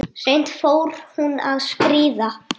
Seint fór hún að skríða.